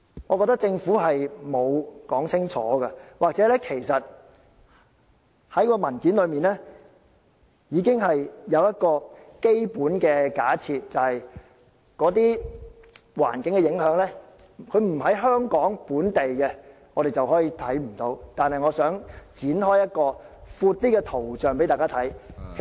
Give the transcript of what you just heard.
我認為政府並沒有說清楚這一點的，或者在文件上，其實它已經有一個基本假設，就是做法對於環境的影響並非在香港本地出現，所以我們便可當作看不到。